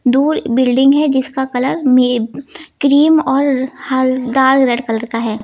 दूर बिल्डिंग है जिसका कलर मे क्रीम और ह लाल रेड कलर का है।